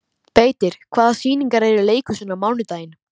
Beitir, hvaða sýningar eru í leikhúsinu á mánudaginn?